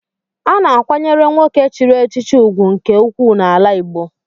A na-akwanyere nwoke chiri echichi ugwu nke ukwuu n'ala Igbo.